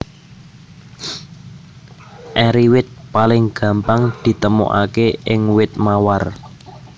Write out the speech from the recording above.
Eri wit paling gampang ditemokaké ing wit mawar